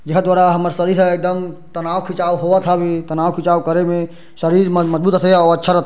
जिहा थोड़ा हमार शरीर ह एकदम तनाव खिचाव होवत हवे तनाव खिचाव करे मे शरीर मन एकदम मजबूत रईथे अऊ अच्छा रथे ।